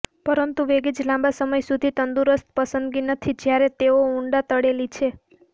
પરંતુ વેગીઝ લાંબા સમય સુધી તંદુરસ્ત પસંદગી નથી જ્યારે તેઓ ઊંડા તળેલી છે